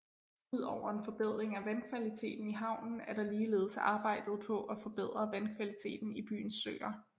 Udover en forbedring af vandkvaliteten i havnen er der ligeledes arbejdet på at forbedre vandkvaliteten i byens søer